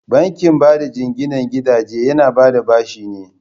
Bankin bada jinginan gidaje yana bada bashi ne.